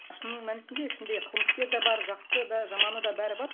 шын мәнісінде ішінде қылмыскер да бар жақсысы да жаманы да бәрі бар